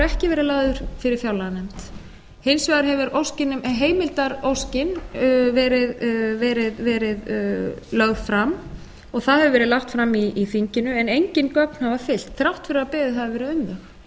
ekki verið lagður fyrir fjárlaganefnd hins vegar hefur heimildaróskin verið lögð fram og það hefur verið lagt fram í þinginu en engin gögn hafa fylgt þrátt fyrir að beðið hafi verið um